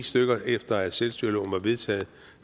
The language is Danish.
efter at selvstyreloven var vedtaget